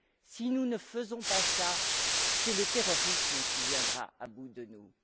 Si nous ne faisons pas cela, c'est le terrorisme qui viendra à bout de nous.